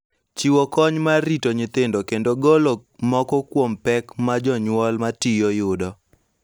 Chiwo kony mar rito nyithindo kendo golo moko kuom pek ma jonyuol ma tiyo yudo.